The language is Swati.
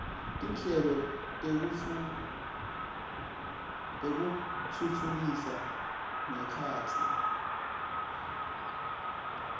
tinhlelo tekutfutfukisa ngekhatsi